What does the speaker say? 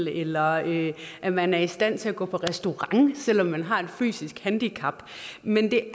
eller at at man er i stand til at gå på restaurant selv om man har et fysisk handicap men det er